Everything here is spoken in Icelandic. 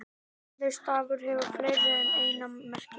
Orðið stafur hefur fleiri en eina merkingu.